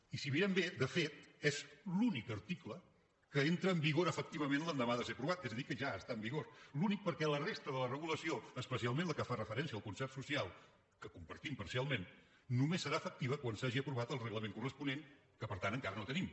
i si ho mirem bé de fet és l’únic article que entra en vigor efectivament l’endemà de ser aprovat és a dir que ja està en vigor l’únic perquè la resta de la regulació especialment la que fa referència al concert social que compartim parcialment només serà efectiva quan s’hagi aprovat el reglament corresponent que per tant encara no tenim